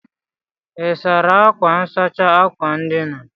Ị́ sara akwa nsachi akwa ndina?